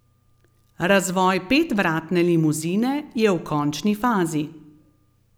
Razvoj petvratne limuzine je v končni fazi.